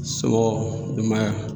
Somɔgɔ denbaya.